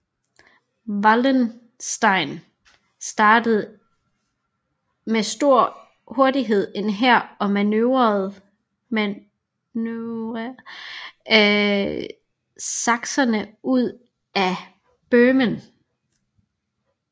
Wallenstein samlede med stor hurtighed en hær og manøvrerede sakserne ud af Bøhmen